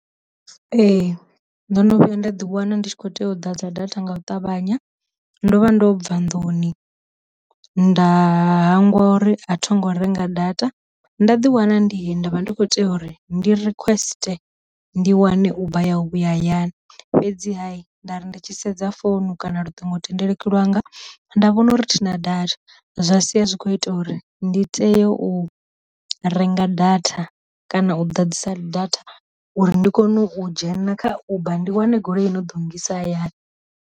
Ee ndo no vhuya nda ḓi wana ndi tshi kho tea u ḓa dza data nga u ṱavhanya, ndo vha ndo bva nḓuni nda hangwa ori a tho ngo renga data nda ḓi wana ndi he ndavha ndi kho tea uri ndi request ndi wane uba ya u vhuya hayani, fhedzi ha nda ri ndi tshi sedza founu kana luṱingo thendeleki lwanga nda vhona uri thi na data zwa sia zwi kho ita uri ndi teye u renga data kana u ḓadzisa data uri ndi kone u dzhena kha uba ndi wane goloi i no ḓo ngisa hayani.